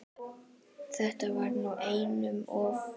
Þetta var nú einum of!